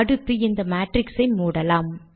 அடுத்து இந்த மேட்ரிக்ஸ் ஐ மூடலாம்